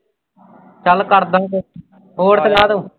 ਚੱਲ ਕਰਦਾ ਹੋਰ ਸੁਣਾ ਤੂੰ।